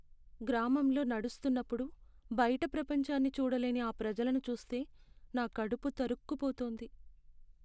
గ్రామంలో నడుస్తున్నప్పుడు, బైట ప్రపంచాన్ని చూడలేని ఆ ప్రజలను చూస్తే, నా కడుపు తరుక్కుపోతుంది.